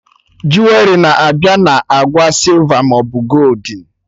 Juwerị na-abịa na agba sịlva maọbụ goldin